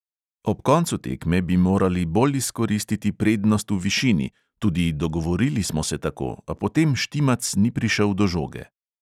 Ob koncu tekme bi morali bolj izkoristiti prednost v višini, tudi dogovorili smo se tako, a potem štimac ni prišel do žoge.